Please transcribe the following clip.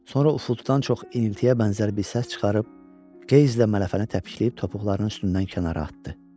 Sonra ufultudan çox iniltiyə bənzər bir səs çıxarıb, keizlə mələfəni təpikləyib topuqlarının üstündən kənara atdı.